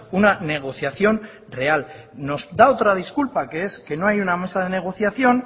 una negociación real nos da otra disculpa que es que no hay una mesa de negociación